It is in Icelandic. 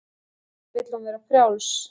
Auðvitað vill hún vera frjáls.